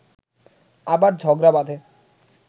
আবার ঝগড়া বাঁধে